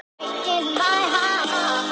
Ekki sömu helgina.